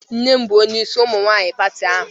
Nnem bu onye isi umunwanyi pati ahu